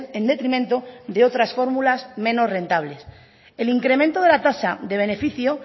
en detrimento de otras fórmulas menos rentables el incremento de la tasa de beneficio